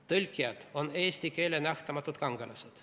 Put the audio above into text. Tõlkijad on eesti keele nähtamatud kangelased.